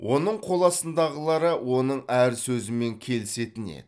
оның қоластындағылары оның әр сөзімен келісетін еді